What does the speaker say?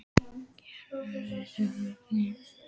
Guðný: Hvenær vissir þú af styrkjunum?